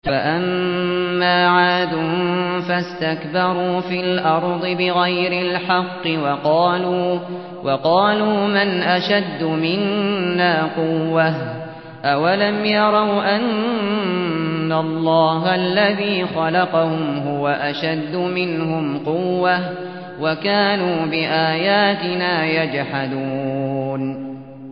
فَأَمَّا عَادٌ فَاسْتَكْبَرُوا فِي الْأَرْضِ بِغَيْرِ الْحَقِّ وَقَالُوا مَنْ أَشَدُّ مِنَّا قُوَّةً ۖ أَوَلَمْ يَرَوْا أَنَّ اللَّهَ الَّذِي خَلَقَهُمْ هُوَ أَشَدُّ مِنْهُمْ قُوَّةً ۖ وَكَانُوا بِآيَاتِنَا يَجْحَدُونَ